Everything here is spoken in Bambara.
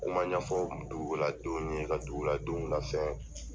Kuma ɲɛfɔ duguladenw ye, ka duguladenw lafɛn